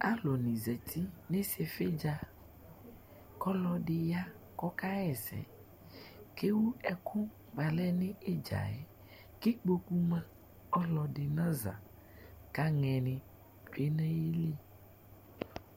alʊni zati n'isɩfɩdza olodɩ ya kɔka ɣɛsɛ kewu ɛkʊ balɛ n'ɩdzayɛ k'ikpokʊ ma ɔlɔdɩ naza kanɛnɩ tsʊe n'ayili